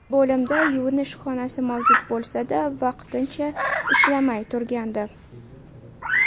Bo‘limda yuvinish xonasi mavjud bo‘lsa-da, vaqtincha ishlamay turgandi.